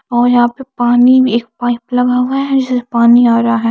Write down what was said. और यहा पे पानी एक पाइप लगा हुआ है जिसमे से पानी आ रहा है ।